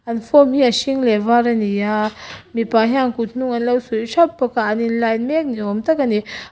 an form hi a hring leh a var ani a mipa hian kut hnung an lo suih thap bawka an in line mek ni awm tak ani--